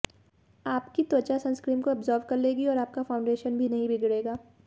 आपकी त्वचा सनस्क्रीन को अब्जॉर्ब कर लेगी और आपका फाउंडेशन भी नहीं बिगड़ेगा